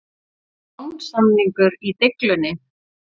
Lánssamningur í deiglunni?